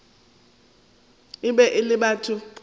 e be e le batho